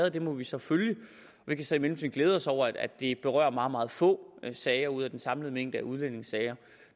og den må vi så følge vi kan så i mellemtiden glæde os over at det berører meget meget få sager ud af den samlede mængde af udlændingesager